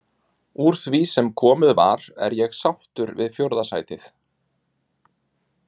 Úr því sem komið var er ég sáttur við fjórða sætið.